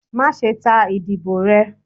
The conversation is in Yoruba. Maṣe ta idibo rẹ!